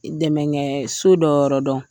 Dɛmɛkɛ so dɔ yɔrɔ dɔn.